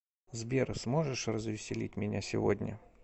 сбер сможешь развеселить меня сегодня